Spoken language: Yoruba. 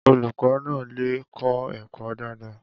Olukọ na lẹ kọ ẹkọ dada